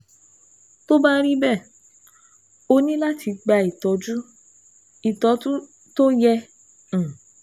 Tó bá rí bẹ́ẹ̀, o ní láti gba ìtọ́jú ìtọ́jú tó yẹ um